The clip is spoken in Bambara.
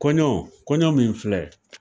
Kɔɲɔ kɔɲɔ min filɛ.